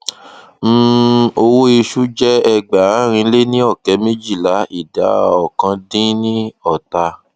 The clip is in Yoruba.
um owó ìṣú jẹ ẹgbàárin lé ní ọkẹ méjìlá ìdá ọkan dín ní ọta